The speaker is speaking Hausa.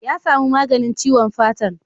Ya samu maganin ciwon fatan.